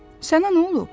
Sənə nə olub?